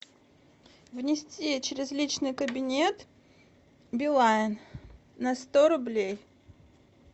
внести через личный кабинет билайн на сто рублей